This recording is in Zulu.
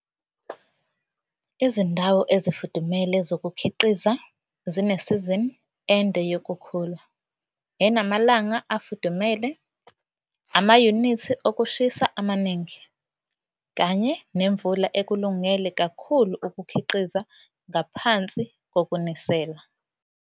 Izindawo ezifudumele zokukhiqiza zinesizini ende yokukhula, enamalanga afudumele, amayunithi okushisa amaningi kanye nemvula encane ekulungele kakhulu ukukhiqiza ngaphansi kokunisela.